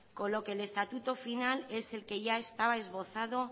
con lo que el estatuto final es el que ya estaba esbozado